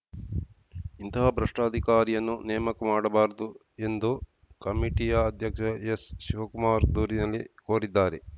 ಇಂತಹ ಭ್ರಷ್ಟಅಧಿಕಾರಿಯನ್ನು ನೇಮಕ ಮಾಡಬಾರದು ಎಂದು ಕಮಿಟಿಯ ಅಧ್ಯಕ್ಷ ಎಸ್‌ಶಿವಕುಮಾರ್‌ ದೂರಿನಲ್ಲಿ ಕೋರಿದ್ದಾರೆ